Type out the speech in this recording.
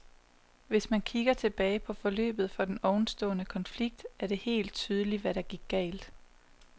Hvis man kigger tilbage på forløbet for den overståede konflikt, er det helt tydeligt, hvad der gik galt.